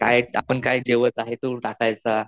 काय आपण काय जेवत आहे तो टाकायचा.